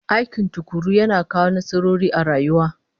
Aiki tukuru yana kawo nasarori a rayuwa